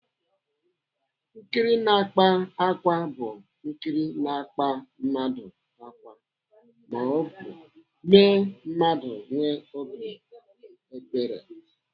Nkiri na-akpa ákwá bu nkiri na-akpa mmadụ ákwá maọbụ mee mmadụ nwee obi ebere.